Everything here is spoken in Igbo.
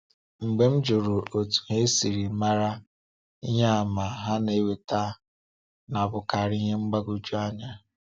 “Mgbe m jụrụ otú ha si mara, ihe àmà ha na-eweta na-abụkarị ihe mgbagwoju anya.”